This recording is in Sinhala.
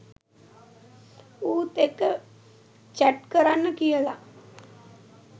ඌත් එක්ක චැට් කරන්න කියල